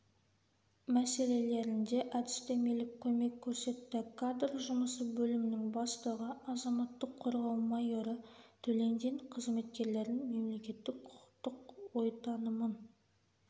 мәселелерінде әдістемелік көмек көрсетті кадр жұмысы бөлімінің бастығы азаматтық қорғау майоры төлендин қызметкерлердің мемлекеттік-құқықтық ой-танымын